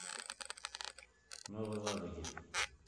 новой ладоге